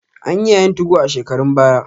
Anyi yayin 2go a shekarun baya.